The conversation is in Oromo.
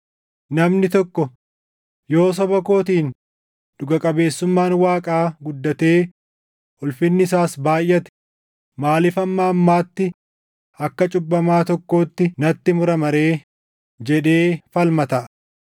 Namni tokko, “Yoo soba kootiin dhuga qabeessummaan Waaqaa guddatee ulfinni isaas baayʼate maaliif hamma ammaatti akka cubbamaa tokkootti natti murama ree?” jedhee falma taʼa.